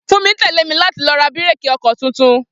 Funmi tẹ́lé mi láti lọ ra bíréékì ọkọ tuntun.